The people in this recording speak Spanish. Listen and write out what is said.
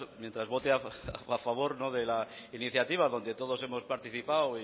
mientras vote a favor de la iniciativa donde todos hemos participado